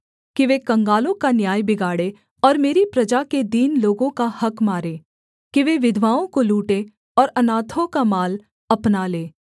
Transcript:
कि वे कंगालों का न्याय बिगाड़ें और मेरी प्रजा के दीन लोगों का हक़ मारें कि वे विधवाओं को लूटें और अनाथों का माल अपना लें